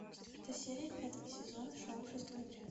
четвертая серия пятого сезона шоу шестой отряд